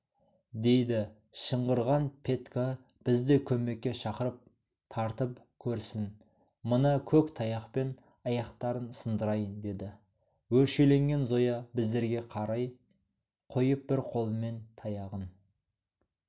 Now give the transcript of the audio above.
дейді шыңғырған петька бізді көмекке шақырып тартып көрсін мына көк таяқпен аяқтарын сындырайын дейді өршеленген зоя біздерге қарап қойып бір қолымен таяғын